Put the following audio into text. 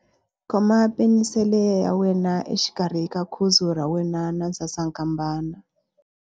Khoma penisele ya wena exikarhi ka khudzu ra wena na sasankambana.